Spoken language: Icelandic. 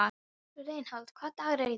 Reinhold, hvaða dagur er í dag?